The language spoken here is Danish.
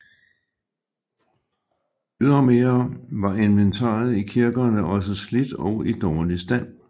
Ydermere var inventaret i kirkerne også slidt og i dårlig stand